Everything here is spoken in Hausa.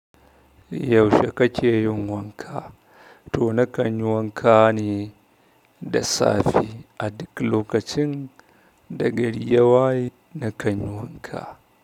Yaushe kake yin wanka? To nakan yi wanka ne da safe a duk lokacin da gari ya waye nakan yi wanka.